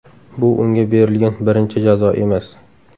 Bu unga berilgan birinchi jazo emas.